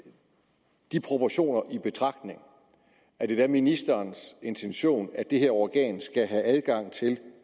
de proportioner taget i betragtning er ministerens intention at det her organ skal have adgang til